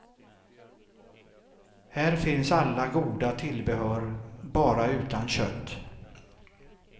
Här finns alla goda tillbehör, bara utan kött.